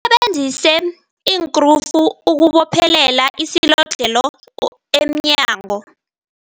Usebenzise iinkrufu ukubophelela isilodlhelo emnyango.